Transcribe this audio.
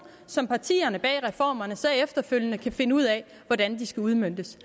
som partierne bag reformerne så efterfølgende kan finde ud af hvordan skal udmøntes